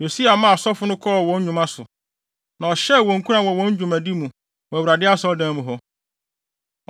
Yosia maa asɔfo no kɔɔ wɔn nnwuma so, na ɔhyɛɛ wɔn nkuran wɔ wɔn dwumadi mu wɔ Awurade Asɔredan mu hɔ.